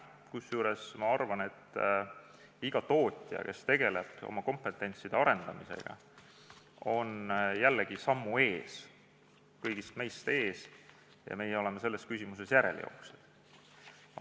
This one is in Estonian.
Kusjuures ma arvan, et iga tootja, kes tegeleb oma kompetentside arendamisega, on jällegi meist kõigist sammukese ees ja meie oleme selles küsimuses järelejooksjad.